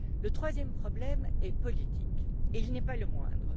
Le troisième problème est politique et il n'est pas le moindre.